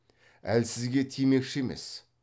әлсізге тимекші емес